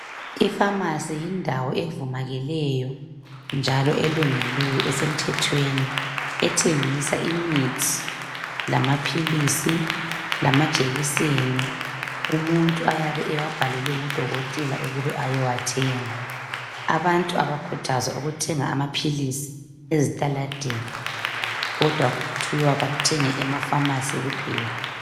Ipharmacy yindawo evumakeleyo njalo elungileyo esemthethweni. Ethengisa imithi lamaphilisi lamajekiseni umuntu ayabe ewabhalelwe ngudokotela ukube ayewathenga. Abantu abakhuthazwa ukuthenga amaphilizi ezitaladeni kodwa kuthiwa bathenge ema pharmacy kuphela.